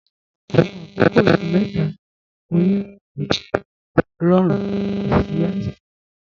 Àwọn àkọ̀kọ̀ oṣù̀ méta ọ̀yọ́nú mi jẹ́ rọ̀rún, kò sí àìsàn owurọ̀